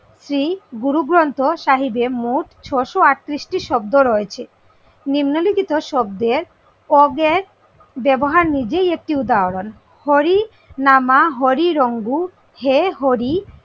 শ্রী গুরু গ্রন্থ সাহেবের মোট ছয়শো আটত্রিশটি শব্দ রয়েছে। নিম্ন লিখিত শব্দের অজ্ঞাত ব্যবহার নিজেই একটি উদাহরণ হরি নামা হরি রঙ্গু হে হরি,